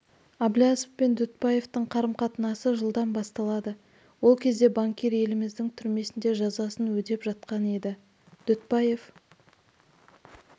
әблязов пен дүтбаевтың қарым-қатынасы жылдан басталады ол кезде банкир еліміздің түрмесінде жазасын өтеп жатқан еді дүтбаев